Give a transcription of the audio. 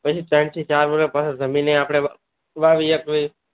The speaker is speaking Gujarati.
પછી ત્રણ થી ચાર વરસ પાસા જમીન એ આપને વાવીએ